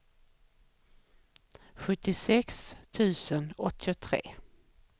sjuttiosex tusen åttiotre